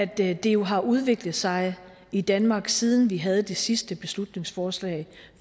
det har udviklet sig i danmark siden vi havde det sidste beslutningsforslag